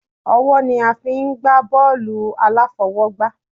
Ọwọ́ ni a fí ń gbà bọọlu aláfọwọ́gbá